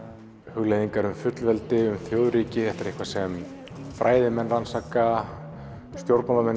hugleiðingar um fullveldi og þjóðríki þetta er eitthvað sem fræðimenn rannsaka og stjórnmálamenn